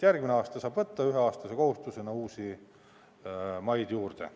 Järgmine aasta saab võtta üheaastase kohustusena uusi maid juurde.